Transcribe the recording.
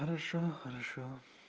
хорошо хорошо